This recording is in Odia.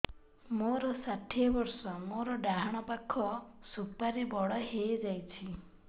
ମୋର ଷାଠିଏ ବର୍ଷ ମୋର ଡାହାଣ ପାଖ ସୁପାରୀ ବଡ ହୈ ଯାଇଛ